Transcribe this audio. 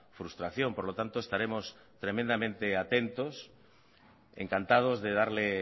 frustración por lo tanto estaremos tremendamente atentos encantados de darle